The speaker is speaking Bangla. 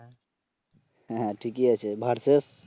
হ্যাঁ ঠিকই আছে ভার্সেস